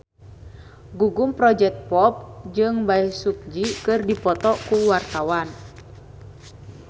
Gugum Project Pop jeung Bae Su Ji keur dipoto ku wartawan